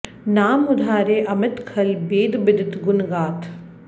नाम उधारे अमित खल बेद बिदित गुन गाथ